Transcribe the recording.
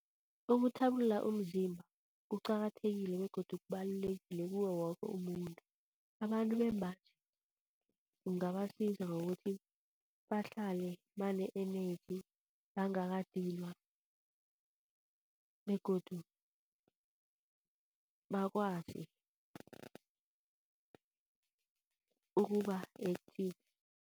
Ukuthabulula umzimba kuqakathekile begodu kubalulekile kuwe woke umuntu. Abantu bembaji kungabasiza nokuthi bahlale bane-energy, bangakadinwa begodu bakwazi ukuba-active.